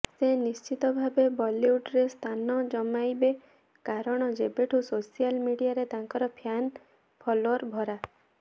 ସେ ନିଶ୍ଚିତ ଭାବେ ବଲିଉଡ୍ରେ ସ୍ଥାନ ଜମାଇଇବେ କାରଣ ଯେବେଠୁ ସୋସିଆଲ ମିଡିଆରେ ତାଙ୍କର ଫ୍ୟାନ ଫଲୋୟର ଭରା